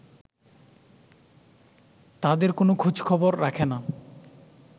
তাঁদের কোনো খোঁজখবর রাখে না